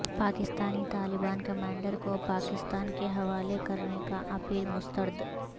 Pakistani Taliban commander کو پاکستان کے حوالے کرنے کی اپیل مسترد